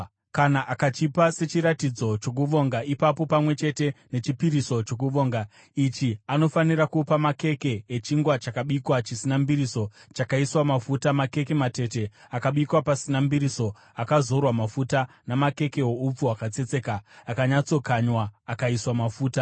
“ ‘Kana akachipa sechiratidzo chokuvonga ipapo pamwe chete nechipiriso chokuvonga ichi, anofanira kupa makeke echingwa chakabikwa chisina mbiriso, chakaiswa mafuta, makeke matete akabikwa pasina mbiriso, akazorwa mafuta, namakeke oupfu hwakatsetseka akanyatsokanywa akaiswa mafuta.